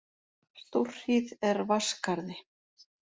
Stórhríð er Vatnsskarði